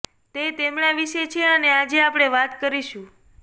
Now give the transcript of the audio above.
તે તેમને વિશે છે અને આજે આપણે વાત કરીશું